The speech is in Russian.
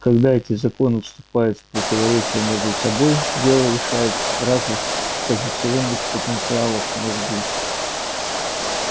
когда эти законы вступают в противоречие между собой дело решает разность позиционных потенциалов в мозгу